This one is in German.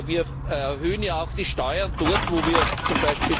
Wir erhöhen ja auch die Steuern dort, wo wir